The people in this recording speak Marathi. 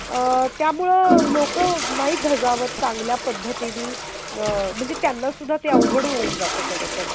आ, त्यामुळे लोकंनाही धजावत चांगल्या पद्धतीने म्हणजे त्यांना सुद्धा ते अवघड होऊन जातं खरतर